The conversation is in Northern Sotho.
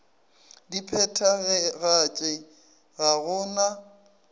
di phethagatše ga go na